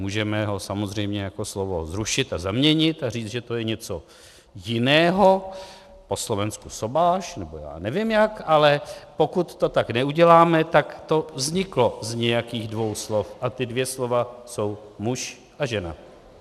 Můžeme ho samozřejmě jako slovo zrušit a zaměnit a říct, že to je něco jiného, po slovensky sobáš nebo já nevím jak, ale pokud to tak neuděláme, tak to vzniklo z nějakých dvou slov a ta dvě slova jsou muž a žena.